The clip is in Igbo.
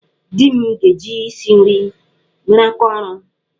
Di m ga-eji isi nri mere aka ọru.